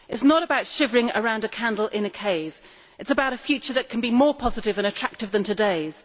It is not about shivering around a candle in a cave it is about a future that can be more positive and attractive than today's.